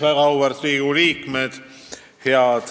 Väga auväärt Riigikogu liikmed!